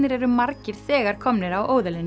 eru margir þegar komnir á